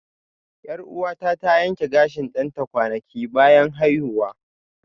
Yar'uwata ta yanke gashin ɗanta kwanaki bayan haihuwa